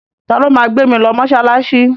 Ta ló ma gbé mi lọ mọ́ṣáláṣí?